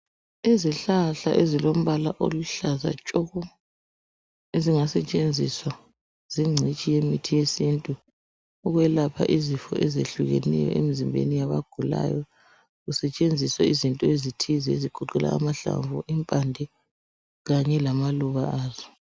Izihlahla ezilombala oluhlaza tshoko! Ezingasetshenziswa zingcitshi yemithi yesintu. Ukwelapha izifo ezehlukeneyo, emzimbeni yabagulayo Kusetshenziswe izinto ezithize, ezigoqela amahlamvu, impande kanye lamaluba azo.